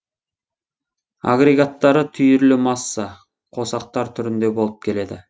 агрегаттары түйірлі масса қосақтар түрінде болып келеді